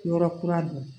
Yɔrɔ kura don